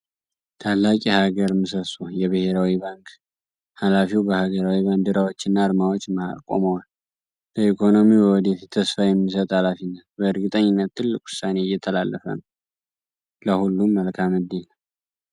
ታላቅ የሀገር ምሰሶ! የብሔራዊ ባንክ ኃላፊው በሀገራዊ ባንዲራዎችና አርማዎች መሃል ቆመዋል! ለኢኮኖሚው የወደፊት ተስፋ የሚሰጥ ኃላፊነት! በእርግጠኝነት ትልቅ ውሳኔ እየተላለፈ ነው! ለሁሉም መልካም ዕድል!